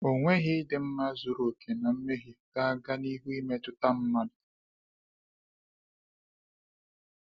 Ọnweghị ịdị mma zuru oke na mmehie ga-aga n’ihu imetụta mmadụ.